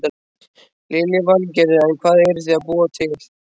Lillý Valgerður: En hvað eruð þið að búa til?